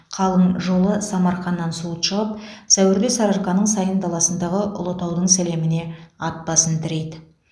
қалың қолы самарқаннан суыт шығып сәуірде сарыарқаның сайын даласындағы ұлытаудың сілеміне ат басын тірейді